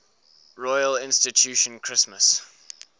royal institution christmas